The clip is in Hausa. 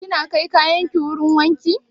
Kina kai kayan ki wurin wanki?